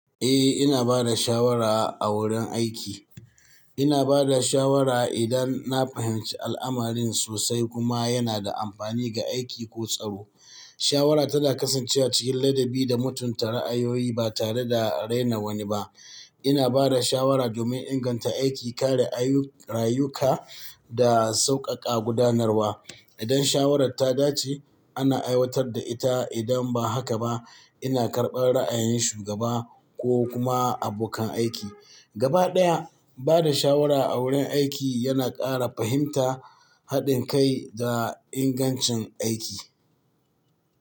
Eh, ina ba da shawara a wurin aiki. Ina ba da shawara idan na fahimci al'amarin sosai kuma yana da amfani ga aiki ko tsaro. Shawara tana kasancewa cikin ladabi da mutunta ra'ayoyi ba tare da rena wani ba. Ina ba da shawara domin inganta aiki, kare rayuka da sauƙaƙa gudanarwa. Idan shawarar ta dace, ana aiwatar da ita, idan ba haka ba ina karɓar ra'ayin shugaba ko kuma abokan aiki. Gaba ɗaya, ba da shawara a wurin aiki yana ƙara fahimta, haɗin kai da ingancin aiki.